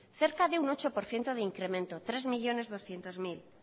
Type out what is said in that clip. cerca de un ocho por ciento de incremento hiru milioi berrehun mila